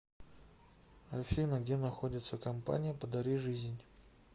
афина где находится компания подари жизнь